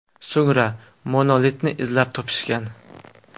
So‘ngra monolitni izlab topishgan.